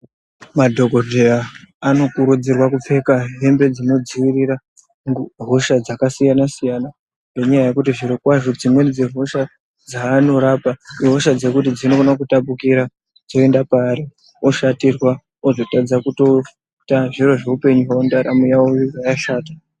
Madhokodheya anokurudzirwa kupfeka hembe dzinodzirira hosha dzakasiyana siyana nenyaya yekuti zviri kwazvo dzimweni hosha dzavanorapa ihosha dzwkuti dzinokone kutapukira kuenda paari oshatirwa azotadza kutoita zviro zveupenyu hwawo ndaramo yawo yobva yashata.